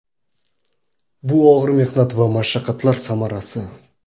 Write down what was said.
Bu og‘ir mehnat va mashaqqatlar samarasi.